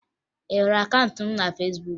Ị hụrụ akaụntụ m na Fesbuk?